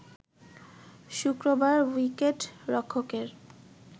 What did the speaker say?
শুক্রবার উইকেট রক্ষকের